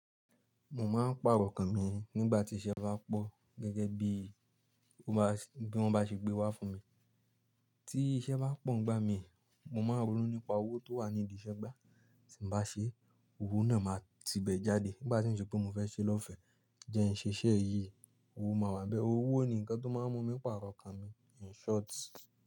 Mo máa ń pàrọ̀ okan mi nígbà tí iṣẹ́ bá pọ̀ gẹ́gẹ́ bí i ó bá ṣe, bí wọ́n bá ṣe gbé wá fún mi. Tí iṣẹ́ bá pọ̀ ngba mi, mo máa n ronú nípa owó tó wà ní ìdíṣẹ́gbà. Tí n bá ṣe, owó náà máa ti bẹ̀ jáde nígbà tí n ṣe pé mo fẹ́ ṣe lọ́fẹ̀ẹ́ jẹ ń ṣe iṣẹ́ yìí, owó máa wà n bẹ́ẹ̀. Owó ni nǹkan tó máa ń mú mi pàrọ̀ kàn mi. In short.